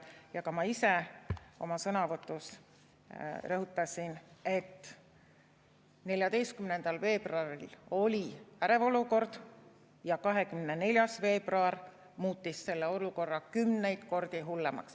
Ja ka ma ise oma sõnavõtus rõhutasin, et 14. veebruaril oli ärev olukord ja 24. veebruar muutis selle olukorra kümneid kordi hullemaks.